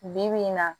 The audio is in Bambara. Bi bi in na